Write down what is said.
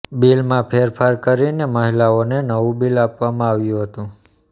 બિલમાં ફેરફાર કરીને મહિલાને નવું બિલ આપવામાં આવ્યું હતું